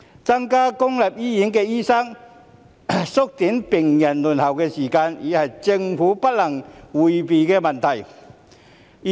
增加公立醫院的醫生人數，縮短病人輪候的時間，已是政府不能迴避的問題。